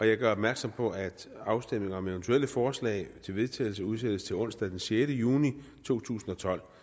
jeg gør opmærksom på at afstemning om eventuelle forslag til vedtagelse udsættes til onsdag den sjette juni to tusind og tolv